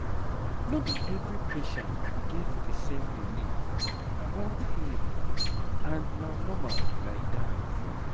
no be every patient get the same belief about healing and na normal like that